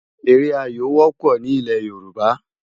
Éré áyó wòpò ni ilē Yoruba